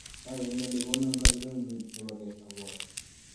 Ayani ale konon kacherunenyu nepo key abor.